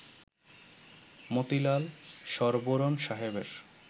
মতিলাল শরবোরণ সাহেবের